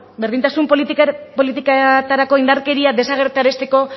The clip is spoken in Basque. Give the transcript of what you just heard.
berdintasun politiketarako indarkeria desagerrarazteko